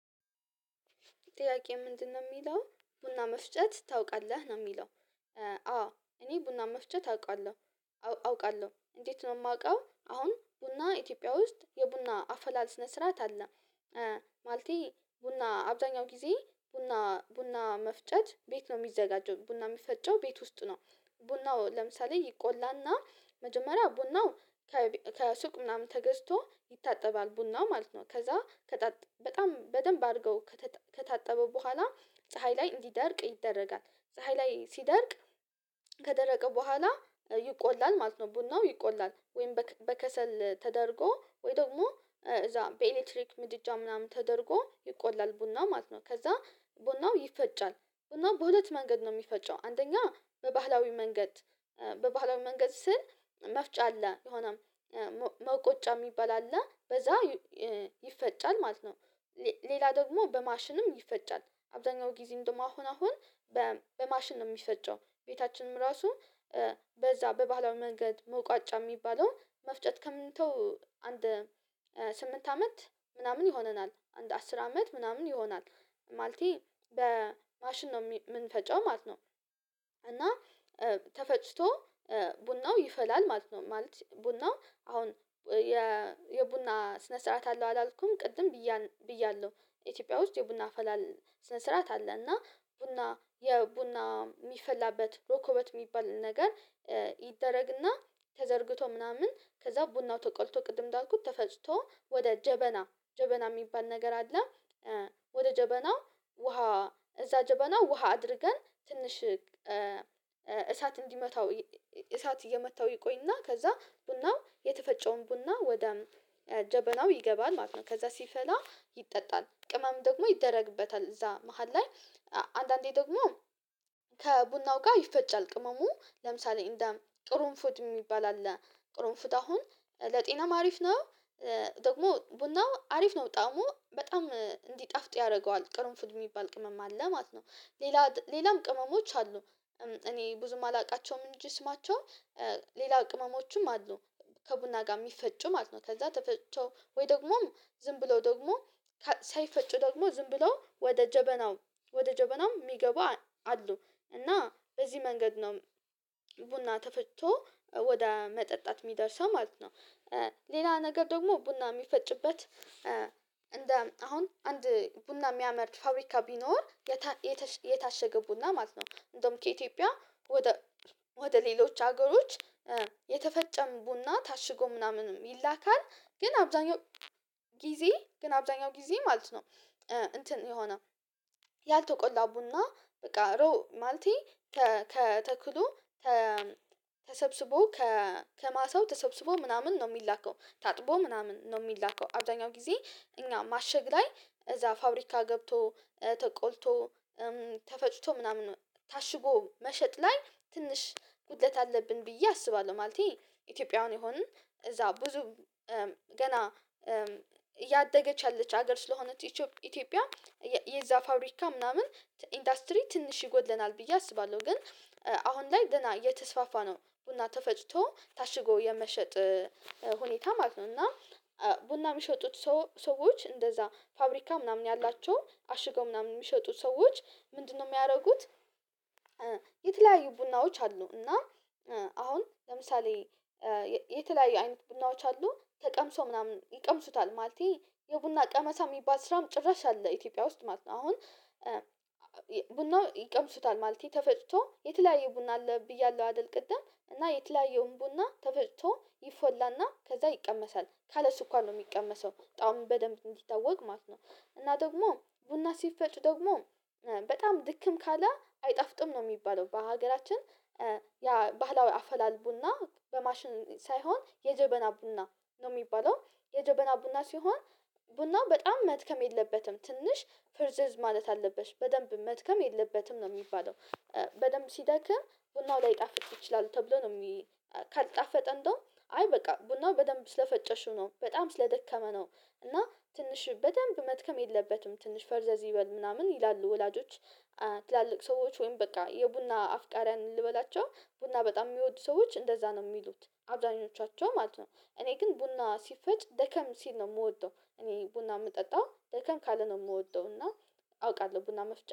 ጥያቄ ምንድነው የሚለው ቡና መፍጨት ታውቃለህ? ነው የሚለው። አዎ እኔ ቡና መፍጨት አውቃለሁ። አውቃለሁ እንዴት ነው የማውቀው አሁን ቡና ኢትዮጵያ ውስጥ የቡና አፈላል ስርዓት አለ ማለቴ ቡና አብዛኛው ጊዜ ቡና ቡና መፍጨት ቤት ነው የሚዘጋጀው። ቡና የሚፈጨው ቤት ውስጥ ነው። ቡናው ለምሳሌ ይቆላና መጀመሪያ ቡናው ከሱቅ ምናምን ተገዝቶ ይታጠባል። ቡናው ማለት ነው ከዛ በጣም በጣም በደንብ አድርገው ከታጠበ በኋላ ፀሀይ ላይ እንዲደርቅ ይደረጋል። ፀሀይ ላይ ሲደርቅ ከደረቀ በኋላ ይቆላል ማለት ነው። ቡናው ይቆላል ወይም በከሰል ተደርጎ ወይ ደግሞ እዛ በኤሌክትሪክ ምድጃ ምናምን ተደርጎ ይቆላል ቡና ማለት ነው። ከዛ ቡናው ይፈጫል። ቡናው በሁለት መንገድ ነው የሚፈጨው አንደኛ በባህላዊ መንገድ በባህላዊ መንገድ ስል መፍጫ አለ የሆነም መዉቀጫ የሚባል አለ። በዛ ይፈጫል ማለት ነው። ሌላ ደግሞ በማሽንም ይፈጫል። አብዛኛው ጊዜ እንደውም አሁን አሁን በማሽን ነው የሚፈጨው። ቤታችንም ራሱ በዛ በባህላዊ መንገድ መዉቀጫ የሚባለው መፍጨት ከተውን አንድ ስምንት አመት ምናምን ይሆነናል። አንድ አስር አመት ምናምን ይሆናል። ማለቴ በማሽን ነው የምንፈጨው ማለት ነው። እና ተፈጭቶ ቡናው ይፈላል ማለት ነው። ማለት ቡናው አሁን የቡና ስነ ስርዓት አለው አላልኩም ቅድም ብያለሁ ኢትዮጵያ ውስጥ የቡና አፈላል ስነ ስርዓት አለ። እና ቡና የቡና የሚፈላበት ረኮቦት የሚባል ነገር ይደረግና ተዘርግቶ ምናምን ከዛ ቡናው ተቆልቶ ቅድም እንዳልኩት ተፈጭቶ ወደ ጀበና ጀበና የሚባል ነገር አለ። ወደ ጀበና ውሃ እዛ ጀበና ውሃ አድርገን ትንሽ እሳት እንዲመታው እሳት እየመታው ይቆይና ከዛ ቡናው የተፈጨውን ቡና ወደ ጀበናው ይገባል ማለት ነው። ከዛ ሲፈላ ይጠጣል ቅመም ደግሞ ይደረግበታል። እዛ መሃል ላይ አንዳንዴ ደግሞ ከቡናው ጋር ይፈጫል። ቅመሙ ለምሳሌ እንደ ቅሩንፉድ የሚባል አለ ቅሩንፉድ አሁን ለጤናም አሪፍ ነው። ደግሞ ቡናው አሪፍ ነው ጣዕሙ በጣም እንዲጣፍጥ ያደርገዋል ቅርንፉድ የሚባል ቅመም አለ። ማለት ነው ሌላ ሌላም ቅመሞች አሉ እኔ ብዙም አላውቃቸውም እንጂ ስማቸውን ሌላ ቅመሞችም አሉ ከቡና ጋር የሚፈጩ ማለት ነው። ከዛ ተፈጭቶ ወይ ደግሞ ዝም ብለው ደግሞ ሳይፈጩ ደግሞ ዝም ብለው ወደ ጀበናው ወደ ጀበናው የሚገቡ አሉ። እና በዚህ መንገድ ነው ቡና ተፈጭቶ ወደ መጠጣት የሚደርሰው ማለት ነው። ሌላ ነገር ደግሞ ቡና የሚፈጭበት እንደ አሁን አንድ ቡና የሚያመርት ፋብሪካ ቢኖር የታሸገ ቡና ማለት ነው እንደውም ከኢትዮጵያ ወደ ወደ ሌሎች ሀገሮች የተፈጨም ቡና ታሽጎ ምናምን ይላካል። ግን አብዛኛውን ጊዜ ግን አብዛኛውን ጊዜ ማለት ነው እንትን የሆነ ያልተቆላ ቡና በቃ ሮ ማለቴ ከ ተክሉ ተሰብስቦ ከማሳው ተሰብስቦ ምናምን ነው የሚላከው። ታጥቦ ምናምን ነው የሚላከው። አብዛኛው ጊዜ እኛ ማሸግ ላይ እዛ ፋብሪካ ገብቶ ተቆልቶ ተፈጭቶ ምናምን ታሽጎ መሸጥ ላይ ትንሽ ጉድለት አለብን ብዬ አስባለሁ። ማለቴ ኢትዮጵያውያን የሆንን እዛ ብዙ ገና እያደገች ያለች ሀገር ስለሆነች ኢትዮ ኢትዮጵያ የዛ ፋብሪካ ምናምን ኢንዱስትሪ ትንሽ ይጎድለናል ብዬ አስባለሁ። ግን አሁን ላይ ገና እየተስፋፋ ነው ቡና ተፈጭቶ ታሽጎ የመሸጥ ሁኔታ ማለት ነው። እና ቡና የሚሸጡት ሰዎች እንደዛ ፋብሪካ ምናምን ያላቸው አሽገው ምናምን የሚሸጡት ሰዎች ምንድነው የሚያደርጉት የተለያዩ ቡናዎች አሉ። እና አሁን ለምሳሌ የተለያዩ አይነት ቡናዎች አሉ ተቀምሶ ምናምን ይቀምሱታል ማለቴ የቡና ቀመሳ የሚባል ስራም ጭራሽ አለ። ኢትዮጵያ ውስጥ ማለት ነው። አሁን ቡናው ይቀምሱታል ማለቴ ተፈጭቶ የተለያየ ቡና አለ ብያለሁ አይደል ቅድም እና የተለያየውን ቡና ተፈጭቶ ይፈላና ከዛ ይቀመሳል ካለ ስኳር ነው የሚቀመሰው ጣዕሙ በደንብ እንዲታወቅ ማለት ነው እና ደግሞ ቡና ሲፈጭ ደግሞ በጣም ድክም ካለ አይጣፍጥም ነው የሚባለው። በሀገራችን ያ ባህላዊ አፈላል ቡና በማሽን ሳይሆን የጀበና ቡና ነው የሚባለው። የጀበና ቡና ሲሆን ቡናው በጣም መድከም የለበትም ትንሽ ፍርዝዝ ማለት አለበት። በደንብ መድከም የለበትም ነው የሚባለው። በደንብ ሲደክም ቡናው ላይጣፍጥ ይችላል ተብሎ ነው የሚ ካልጣፈጠ እንደው አይ በቃ ቡናው በደንብ ስለፈጨሽው ነው በጣም ስለደከመ ነው እና ትንሽ በደንብ መድከም የለበትም ትንሽ ፈርዘዝ ይበል ምናምን ይላሉ ወላጆች ትላልቅ ሰዎች ወይም በቃ የቡና አፍቃሪያን ልበላቸው ቡና በጣም የሚወዱ ሰዎች እንደዛ ነው የሚሉት። አብዛኞቻቸው ማለት ነው እኔ ግን ቡና ሲፈጭ ደከም ሲል ነው የምወደው እኔ ቡና የምጠጣው ደከም ካለ ነው የምወደው እና አውቃለሁ ቡና መፍጨት